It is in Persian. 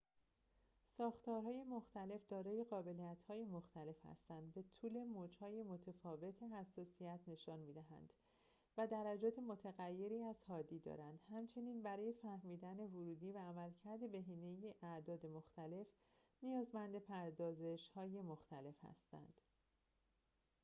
ساختارهای مختلف دارای قابلیت‌های مختلف هستند به طول موج‌های متفاوت حساسیت نشان می‌دهند و درجات متغیری از حادی دارند همچنین برای فهمیدن ورودی و عملکرد بهینه اعداد مختلف نیازمند پردازش‌های مختلف هستند